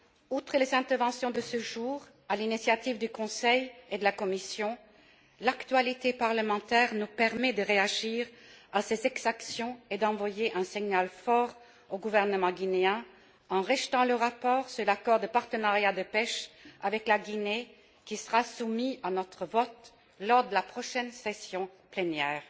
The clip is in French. Outre les interventions de ce jour à l'initiative du Conseil et de la Commission, l'actualité parlementaire nous permet de réagir à ces exactions et d'envoyer un signal fort au gouvernement guinéen en rejetant le rapport sur l'accord de partenariat de pêche avec la Guinée, qui sera soumis à notre vote lors de la prochaine session plénière.